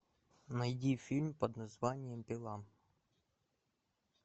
найди фильм под названием пила